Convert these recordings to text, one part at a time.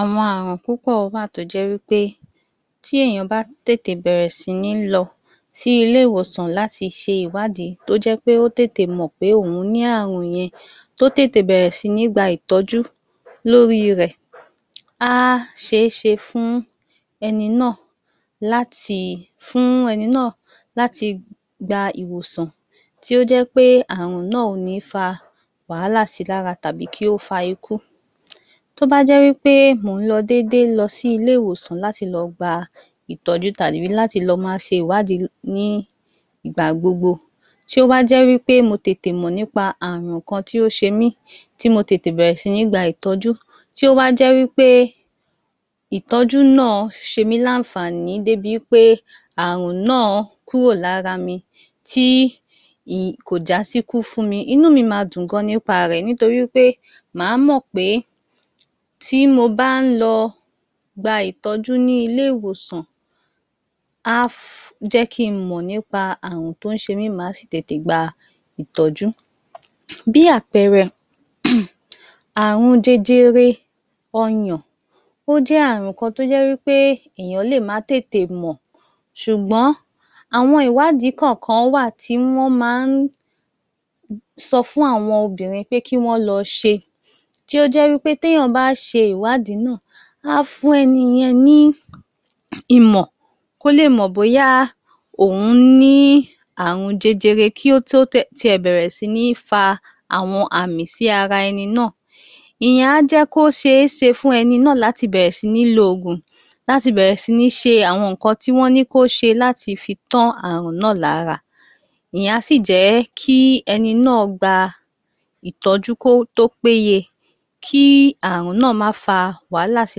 ‎Awọn Ààrùn púpọ̀ wà tí ó jẹ́ wí pé tí ènìyàn bá tètè bẹ̀rẹ̀ sí ní lọ sí ilé ìwòsàn láti ṣe ìwádìí tí ó jẹ́ pé ó tètè mọ̀ pé òun ní Ààrùn yẹn tí ó tètè bẹ̀rẹ̀ sí ní gba ìtọ́jú sí ní gba ìtọ́jú lórí rẹ á ṣe é ṣe fún ẹni náà láti gba ìwòsàn tí ó jẹ́ pé Ààrùn náà kò ní fa wàhálà sí I lára tàbí kí ó fa ikú tí ó bá jẹ́ pé mò ń dédé lọ sí ilé ìwòsàn láti lọ gba ìtọ́jú tàbí láti lọ máa ṣe ìwádìí ní igbà gbogbo tí ó bá jẹ́ wí pé mo tètè mọ̀ nípa Ààrùn kan tí ó ń ṣe mí tí mo tètè bẹ̀rẹ̀ sí ní gba ìtọ́jú tí ó wá jẹ́ ìtọ́jú náà ṣe mí láńfààní tí ó wá jẹ́ wí pé aàrùn náà kúrò lára mi tí kò já sí ikú fún mi, inú mi máa dùn gan ni nípa rẹ torí pé máa mọ̀ pé tí mo bá lọ ń gba ìtọ́jú ní ilé ìwòsàn á jẹ́ kí n mọ́ nípa ààrùn tí ó ń ṣe mí màá sì tètè gba ìtọ́jú bí àpẹẹrẹ ààrùn jẹjẹrẹ ọyàn á jẹ́ kí n mọ́ nípa Ààrùn tí ó ń ṣe mí màá sì tètè gba ì ó jẹ́ ààrùn kan tí ènìyàn lè má tètè mọ̀ ṣùgbọ́n àwọn ìwádìí kọ̀ọ̀kan wà tí wọ́n máa ń sọ fún àwọn obìnrin láti lọ ṣe, tí ó jẹ́ wí pé tí ènìyàn bá ṣe ìwádìí náà, á fún ẹni yẹn ní ìmọ̀ kò lè mọ̀ bóyá òhun ní ààrun jẹjẹrẹ kí tó lè bẹ̀rẹ̀ sí ní fa àwọn àmì í ara ẹni náà ìyẹn á jẹ́ kí ó ṣe é ṣe fún ẹni náà láti bẹ̀rẹ̀ sí ní lo oògùn láti bẹ̀rẹ̀ sí ní ṣe àwọn nǹkan tí ó ní láti ṣe láti fi tán àárùn náà lára ìyẹn á sì jẹ́ kí ẹni náà gba ìtọ́jú tó péye kí Ààrùn náà má fa wàhálà sí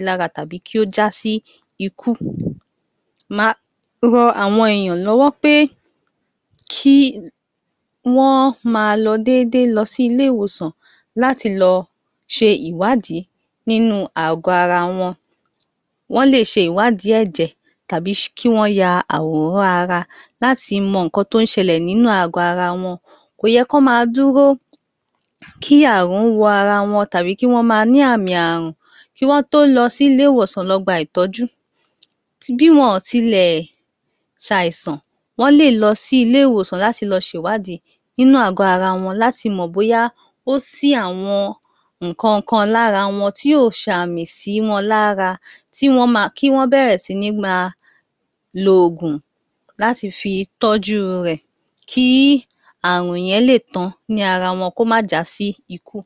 I lira tàbí kí ó já sí ikú màá ran àwọn ènìyàn lọ́wọ́ pé kí Wọ́n máa lọ déédéé lọ sí ilé ìwòsàn láti lọ ṣe ìwádìí nínú ààgọ́ ara wọn wọ́n lè ṣe ìwádìí ẹ̀jẹ̀ tàbí ya àwòrán ara wọn láti mọ ohun tí ó ń ṣe lẹ̀ nínú ààgọ́ ara wọn kò yẹ kí Wọ́n máa dúró kí ààrùn wọ ara wọn tàbí kí Wọ́n máa ní àmì Ààrùn kí Wọ́n tó lọ sí ilé ìwòsàn lọ gba ìtọ́jú bí wọn kò tilẹ̀ ṣàìsàn wọ́n lè lọ sí ilé ìwòsàn láti lọ ṣe ìwádìí nínú ààgọ́ ara wọn láti mọ̀ bóyá ó ṣí àwọn nǹkan kan lára wọn tí yóò sààmì sí wọn lára kí Wọ́n bẹ̀rẹ̀ sí ní máa lo òògùn láti fi tọ́jú rẹ kí ààrùn yẹn lè tán ní ara wọn kí ó má jásí ikú ‎ Wọ́n máa ní àmì ààrùn kí Wọ́n tó lọ sí ilé ìwòsàn lọ gba ìtọ́jú bí wọọn kò tilẹ̀ ṣàìsàn wọ́n lè lọ sí ilé ìwòsàn láti lọ ṣe ìwádìí nínú ààgọ́ ara wọn láti mọ̀ bóyá ó ṣí àwọn nǹkan kan lára wọn tí yóò sààmì sí wọn lára kí Wọ́n bẹ̀rẹ̀ sí ní máa lo òògùn láti fi tọ́jú rẹ kí ààrùn yẹn lè tán ní ara wọn kí ó má jásí ikú ‎ Wọ́n máa ní àmì Ààrùn kí Wọ́n tó lọ sí ilé ìwòsàn lọ gba ìtọ́jú bí wọọn kò tilẹ̀ ṣàìsàn wọ́n lè lọ sí ilé ìwòsàn láti lọ ṣe ìwádìí nínú ààgọ́ ara wọn láti mọ̀ bóyá ó ṣí àwọn nǹkan kan lára wọn tí yóò sààmì sí wọn lára kí Wọ́n bẹ̀rẹ̀ sí ní máa lo òògùn láti fi tọ́jú rẹ kí ààrùn yẹn lè tán ní ara wọn kí ó má jásí ikú ‎ Wọ́n máa ní àmì Ààrùn kí Wọ́n tó lọ sí ilé ìwòsàn lọ gba ìtọ́jú bí wọọn kò tilẹ̀ ṣàìsàn wọ́n lè lọ sí ilé ìwòsàn láti lọ ṣe ìwádìí nínú ààgọ́ ara wọn láti mọ̀ bóyá ó ṣí àwọn nǹkan kan lára wọn tí yóò sààmì sí wọn lára kí Wọ́n bẹ̀rẹ̀ sí ní máa lo òògùn láti fi tọ́jú rẹ kí Ààrùn yẹn lè tán ní ara wọn kí ó má jásí ikú ‎ Wọ́n máa ní àmì Ààrùn kí Wọ́n tó lọ sí ilé ìwòsàn lọ gba ìtọ́jú bí wọọn kò tilẹ̀ ṣàìsàn wọ́n lè lọ sí ilé ìwòsàn láti lọ ṣe ìwádìí nínú ààgọ́ ara wọn láti mọ̀ bóyá ó ṣí àwọn nǹkan kan lára wọn tí yóò sààmì sí wọn lára kí Wọ́n bẹ̀rẹ̀ sí ní máa lo òògùn láti fi tọ́jú rẹ kí Ààrùn yẹn lè tán ní ara wọn kí ó má jásí ikú ‎ kí ààrùn wọ ara wọn tàbí kí Wọ́n máa ní àmì ààrùn kí Wọ́n tó lọ sí ilé ìwòsàn lọ gba ìtọ́jú bí wọn kò tilẹ̀ ṣàìsàn wọ́n lè lọ sí ilé ìwòsàn láti lọ ṣe ìwádìí nínú ààgọ́ ara wọn láti mọ̀ bóyá ó ṣí àwọn nǹkan kan lára wọn tí yóò sààmì sí wọn lára kí wọ́n bẹ̀rẹ̀ sí ní máa lo òògùn láti fi tọ́jú rẹ kí ààrùn yẹn lè tán ní ara wọn kí ó má já sí ikú